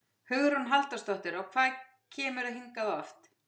Hugrún Halldórsdóttir: Og hvað kemurðu hingað oft?